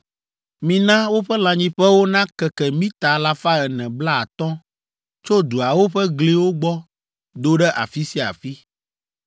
“Mina woƒe lãnyiƒewo nakeke mita alafa ene blaatɔ̃ tso duawo ƒe gliwo gbɔ do ɖe afi sia afi.